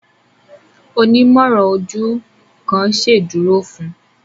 Onimọran ojú kán ṣeduro fún